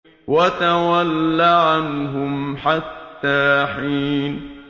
وَتَوَلَّ عَنْهُمْ حَتَّىٰ حِينٍ